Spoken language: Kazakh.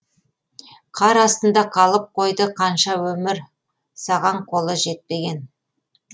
қар астында қалып қойды қанша өмір саған қолы жетпеген